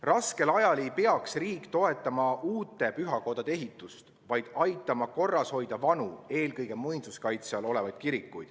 Raskel ajal ei peaks riik toetama uute pühakodade ehitust, vaid aitama korras hoida vanu, eelkõige muinsuskaitse all olevaid kirikuid.